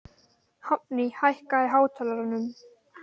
Hafný, hækkaðu í hátalaranum.